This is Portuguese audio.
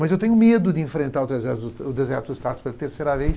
Mas eu tenho medo de enfrentar o deserto deserto do tataros pela terceira vez.